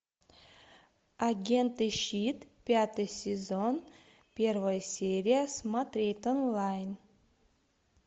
агенты щит пятый сезон первая серия смотреть онлайн